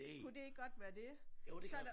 Kunne det ikke godt være det?